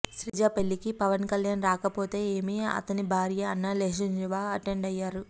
శ్రీజ పెళ్ళికి పవన్ కళ్యాణ్ రాకపోతే ఏమి అతని భార్య అన్న లేజహ్నేవ అటెండ్ అయ్యారు